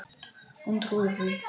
Hún trúir því.